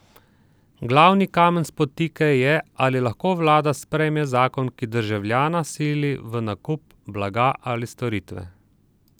Glavni kamen spotike je, ali lahko vlada sprejme zakon, ki državljana sili v nakup blaga ali storitve.